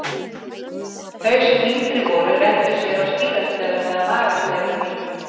Þau sem yngri voru renndu sér á skíðasleðum eða magasleðum í